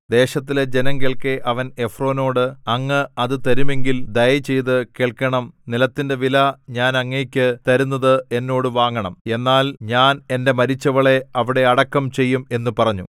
ദേശത്തിലെ ജനം കേൾക്കെ അവൻ എഫ്രോനോട് അങ്ങ് അത് തരുമെങ്കിൽ ദയചെയ്ത് കേൾക്കണം നിലത്തിന്റെ വില ഞാൻ അങ്ങയ്ക്കു തരുന്നത് എന്നോട് വാങ്ങണം എന്നാൽ ഞാൻ എന്റെ മരിച്ചവളെ അവിടെ അടക്കം ചെയ്യും എന്നു പറഞ്ഞു